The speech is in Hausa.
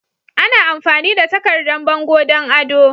Ana amfani da takardan bango don ado.